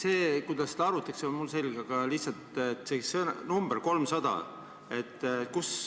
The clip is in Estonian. See, kuidas seda arvutatakse, on mul selge, aga lihtsalt see number 300.